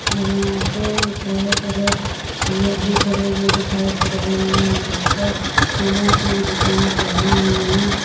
और यहां पे बहोत सारे लोग भी खड़े हुए दिखाई पड़ रहे हैं और ऊपर फूलों से दुकानें सजी हुई है।